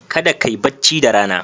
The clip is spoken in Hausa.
Kada kai bacci da Rana.